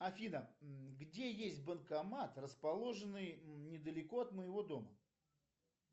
афина где есть банкомат расположенный недалеко от моего дома